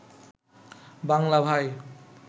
বাংলা ভাই